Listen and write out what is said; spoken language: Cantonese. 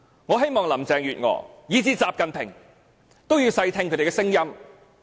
我希望林鄭月娥及習近平細聽他們的聲音。